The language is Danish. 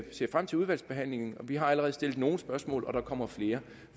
ser frem til udvalgsbehandlingen vi har allerede stillet nogle spørgsmål og der kommer flere